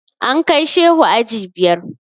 An kai Shehu aji biyar.